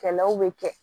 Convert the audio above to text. Kɛlɛw bɛ kɛ